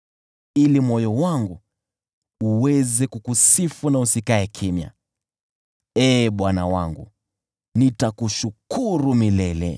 ili moyo wangu uweze kukusifu na usikae kimya. Ee Bwana Mungu wangu, nitakushukuru milele.